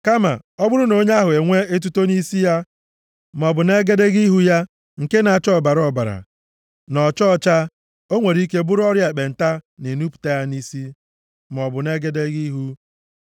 Kama ọ bụrụ na onye ahụ enwee etuto nʼisi ya maọbụ nʼegedege ihu ya nke na-acha ọbara ọbara, na ọcha ọcha, o nwere ike bụrụ ọrịa ekpenta na-enupụta ya nʼisi maọbụ nʼegedege ihu.